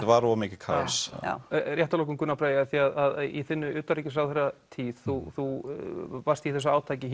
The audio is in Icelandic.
var of mikið kaos h já rétt að lokum Gunnar Bragi af því að í þinni utanríkisráðherratíð þú varst í þessu átaki